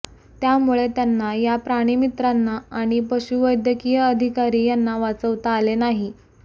त्यामुळे त्यांना या प्राणिमित्रांना आणि पशुवैद्यकीय अधिकारी यांना वाचवता आले नाही